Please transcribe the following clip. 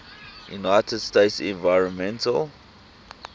united states environmental